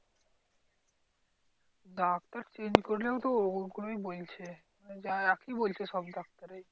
Doctor change করলেও তো ওগুলোই বলছে। একই বলছে সব ডাক্তারেই।